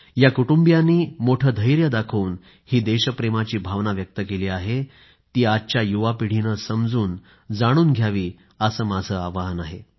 या कुटुंबियांनी मोठं धैर्य दाखवून ही देशप्रेमाची भावना व्यक्त केली आहे ती आजच्या युवापिढीनं समजून जाणून घ्यावी असं माझं आवाहन आहे